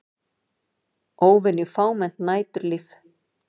Óvenju fámennt næturlíf